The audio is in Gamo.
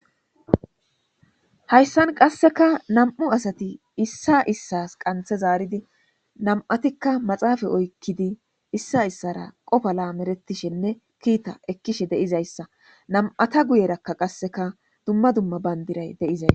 hayssan qasseka nam7u asati issa issas qanthe zaaridi nam7atikka maxaafay oykkidi issa issara qofa laameretishenne kiita ekkishe deizayssa nam7ata guyeraka qasseka dumma dumma bayndiray deizay